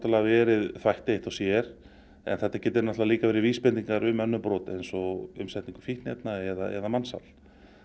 verið þvætti eitt og sér en líka vísbendingar um önnur brot eins og umsetningu fíkniefna eða mansal